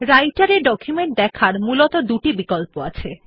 রাইটের এ ডকুমেন্ট দেখার মূলত দুটি বিকল্প আছে